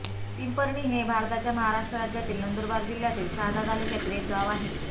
पिंपरणी हे भारताच्या महाराष्ट्र राज्यातील नंदुरबार जिल्ह्यातील शहादा तालुक्यातील एक गाव आहे